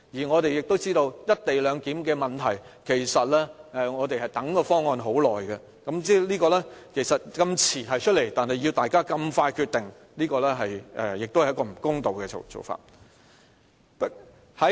我們亦知道，"一地兩檢"的問題其實是，我們已等待很久，但政府這麼遲才提出方案，卻要大家如此快速地決定，這是一種不公道的做法。